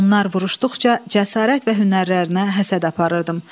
Onlar vuruşduqca cəsarət və hünərlərinə həsəd aparırdım.